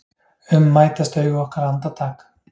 um mætast augu okkar andartak.